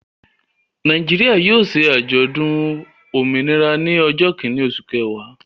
Nàìjíríà yóò ṣe àjọ̀dún òmìnira ní ọjọ́ kìíní, oṣù kẹwàá.